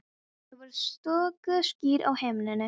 Það voru stöku ský á himninum.